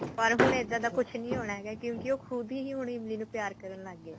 ਪਰ ਹੁਣ ਇੱਦਾਂ ਦਾ ਕੁੱਝ ਨੀ ਹੋਣਾ ਹੈਗਾ ਕਿਉਂਕਿ ਹੁਣ ਉਹ ਖੁਦ ਹੀ ਹੁਣ ਇਮਲੀ ਨੂੰ ਪਿਆਰ ਕਰਨ ਲੱਗ ਗਿਆ